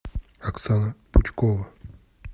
оксана пучкова